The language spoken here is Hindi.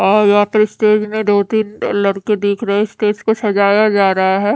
और यहां पर स्टेज में दो तीन लड़के दिख रहे है स्टेज को सजाया जा रहा हैं।